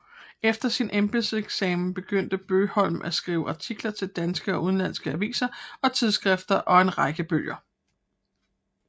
Efter sin embedseksamen begyndte Bøgholm at skrive artikler til danske og udenlandske aviser og tidsskrifter og en række bøger